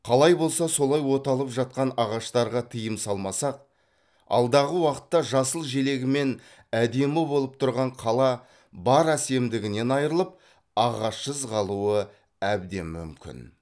қалай болса солай оталып жатқан ағаштарға тыйым салмасақ алдағы уақытта жасыл желегімен әдемі болып тұрған қала бар әсемдігінен айрылып ағашсыз қалуы әбден мүмкін